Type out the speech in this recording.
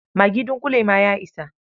Magi dunƙule ma ya isa.